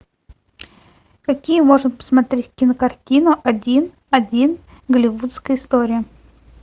какие можно посмотреть кинокартину один один голливудская история